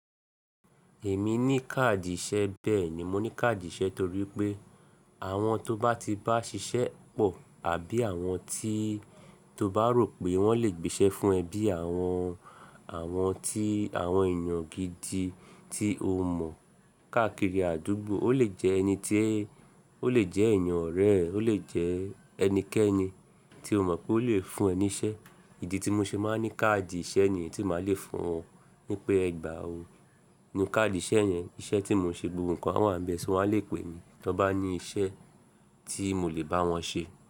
Èmi ní káàdì ìṣe, bẹ́ẹ̀ ni mo ní káàdì ìṣe torí pé àwọn tó bá ti bá ṣiṣẹ́ pọ̀ àbí àwọn tí tó bá rò pé wọ́n lè gbéṣẹ́ fún ẹ bí i àwọn, àwọn tí àwọn èèyàn gidi tí o mọ̀ káàkiri àdúgbò. Ó lè jẹ ẹni tí ó lè jẹ́ ẹ̀eyàn ọ̀rẹ́ ẹ, ó lè jẹ́ ẹnikẹ́ni tí o mọ̀ pé ó lè fún ẹ ní iṣẹ́. Ìdí tí mo ṣe máa ń ní káàdì ìṣe niyí tí màá le fún wọn pé ẹ gbà ó, inu káàdì ìṣe yẹn, iṣẹ́ tí mò ń ṣe gbogbo nǹkan a wá n bẹ̀ sọ, wọ́n á lè pè mi tó n bá ní iṣẹ́ tí mo lè bá wọn ṣe.